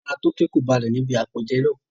Ara Toke kò balẹ̀ ní ibi àpèjẹ náà.